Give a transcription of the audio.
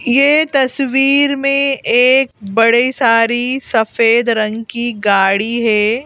यह तस्वीर में एक बड़ी सारी सफेद रंग की गाड़ी है।